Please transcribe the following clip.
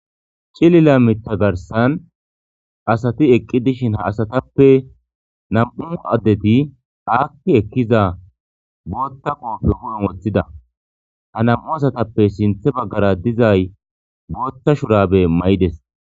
C'ilila miththa garissan asati de'eshshen ha asatappe na'mu addeti xaxi eqqidda boththa qobe huppen woththida ha na'mu asatuppe sinthera dizzaay boththa shurabbe mayides.